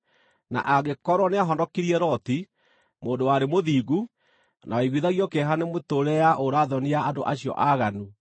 na angĩkorwo nĩahonokirie Loti, mũndũ warĩ mũthingu, na waiguithagio kĩeha nĩ mĩtũũrĩre ya ũũra-thoni ya andũ acio aaganu,